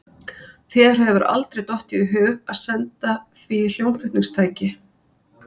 Þér hefur aldrei dottið í hug að senda því hljómflutningstæki?